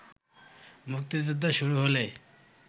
মুক্তিযুদ্ধ শুরু হলে